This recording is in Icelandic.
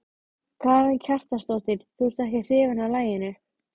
Skarkalinn inní veitingasalnum rís og hnígur einsog öldusog.